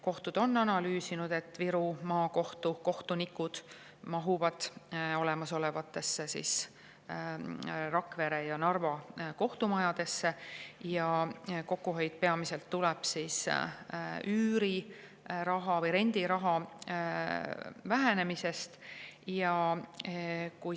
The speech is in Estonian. " Kohtud on analüüsinud, et Viru Maakohtu kohtunikud mahuvad Rakvere ja Narva kohtumajja ja kokkuhoid peamiselt tuleb üüriraha või rendiraha vähenemisest.